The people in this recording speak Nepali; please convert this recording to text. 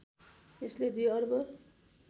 यसले २ अर्ब